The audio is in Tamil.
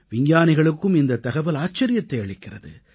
விஞ்ஞானிகளுக்கும் இந்தத் தகவல் ஆச்சரியத்தை அளிக்கிறது